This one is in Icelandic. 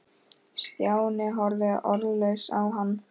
Stjáni horfði orðlaus á hann.